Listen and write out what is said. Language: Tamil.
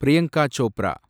பிரியங்கா சோப்ரா